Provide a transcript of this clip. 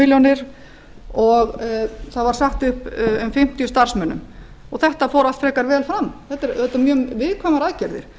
milljónir og það var sagt upp um fimmtíu starfsmönnum og þetta fór allt frekar vel fram þetta eru mjög viðkvæmar aðgerðir